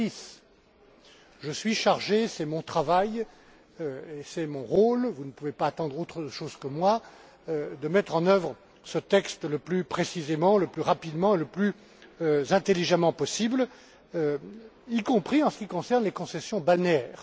2006. Je suis chargé c'est mon travail et c'est mon rôle, vous ne pouvez pas attendre autre chose de moi de mettre en œuvre ce texte le plus précisément, le plus rapidement et le plus intelligemment possible, y compris en ce qui concerne les concessions balnéaires.